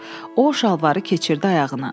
O şalvarı keçirdi ayağına.